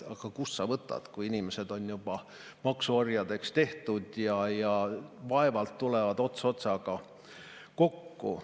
Aga kust sa võtad, kui inimesed on juba maksuorjadeks tehtud ja vaevalt tulevad ots otsaga kokku.